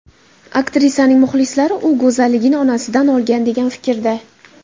Aktrisaning muxlislari u go‘zalligini onasidan olgan, degan fikrda.